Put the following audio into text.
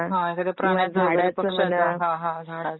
हा हा झाडाच पण म्हणा